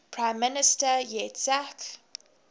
prime minister yitzhak